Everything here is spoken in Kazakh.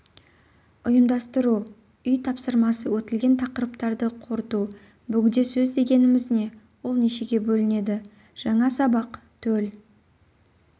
ұйымдастыру үй тапсырмасы өтілген тақырыптарды қорыту бөгде сөз дегеніміз не ол нешеге бөлінеді жаңа сабақ төл